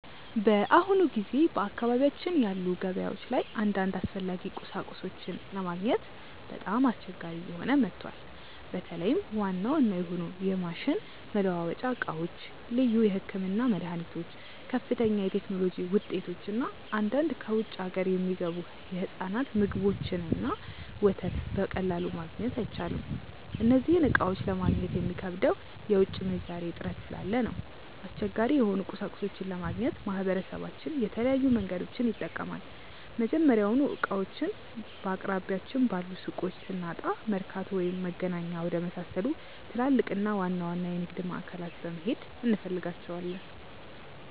በአሁኑ ጊዜ በአካባቢያችን ባሉ ገበያዎች ላይ አንዳንድ አስፈላጊ ቁሳቁሶችን ለማግኘት በጣም አስቸጋሪ እየሆነ መጥቷል። በተለይም ዋና ዋና የሆኑ የማሽን መለዋወጫ ዕቃዎች፣ ልዩ የሕክምና መድኃኒቶች፣ ከፍተኛ የቴክኖሎጂ ውጤቶች እና አንዳንድ ከውጭ አገር የሚገቡ የሕፃናት ምግቦችንና ወተት በቀላሉ ማግኘት አይቻልም። እነዚህን ዕቃዎች ለማግኘት የሚከብደው የውጭ ምንዛሬ እጥረት ስላለ ነው። አስቸጋሪ የሆኑ ቁሳቁሶችን ለማግኘት ማህበረሰባችን የተለያዩ መንገዶችን ይጠቀማል። መጀመሪያውኑ ዕቃዎቹን በአቅራቢያችን ባሉ ሱቆች ስናጣ፣ መርካቶ ወይም መገናኛ ወደመሳሰሉ ትላልቅና ዋና ዋና የንግድ ማዕከላት በመሄድ እንፈልጋቸዋለን።